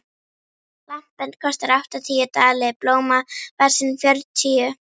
Lampinn kostar áttatíu dali, blómavasinn fjörutíu.